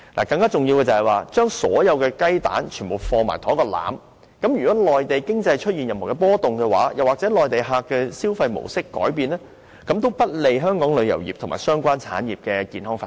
更重要的是，我們把所有雞蛋都放進同一個籃子，如果內地經濟出現任何波動，又或內地旅客的消費模式改變，便會不利香港旅遊業和相關產業的健康發展。